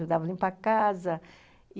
Ajudava a limpar a casa.